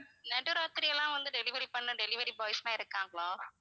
நடு ராத்தியெல்லாம் வந்து delivery பண்ண delivery boys எல்லாம் இருக்காங்களா?